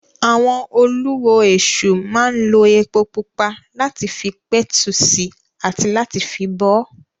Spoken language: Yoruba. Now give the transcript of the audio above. Àwọn Olú ọ Èṣù máa ń lo epo pupa láti fi pẹ̀tù sí i àti láti fi bọ ọ́.